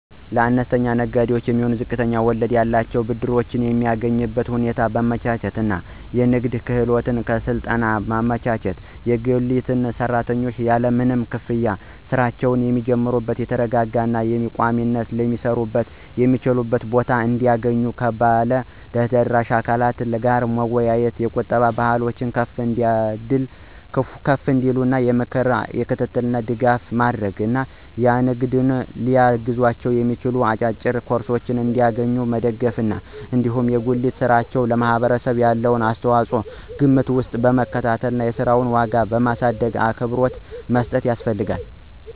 ለአነስተኛ ንግዶች የሚሆኑ ዝቅተኛ ወለድ ያላቸውን ብድሮች የሚያገኙበትን ሁኔታ ማመቻቸት እና የንግድ ክህሎት ስልጠና ማመቻቸት፣ የጉሊት ሰራተኞች ያለምንም ክፍያ ሥራቸውን የሚጀምሩበት የተረጋጋ እና በቋሚነት ሊሰሩበት የሚችሉበትን ቦታ እንዲያገኙ ከባለ ድርሻ አካላት ጋር መወያየት፣ የቁጠባ ባህላቸው ከፍ እንዲል የምክር እና የክትትል ድጋፍ ማድረግ እና ንግዱን ሊያግዛቸው የሚችል አጫጭር ኮርሶችን እንዲያገኙ መደገፍ ነው። እንዲሁም የጉሊት ሥራ ለማህበረሰቡ ያለውን አስተዋጽኦ ከግምት ውስጥ በመክተት የሥራውን ዋጋ ማሳደግእና አክብሮት መስጠት ያስፈልጋል።